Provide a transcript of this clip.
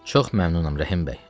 Çox məmnunam Rəhimbəy.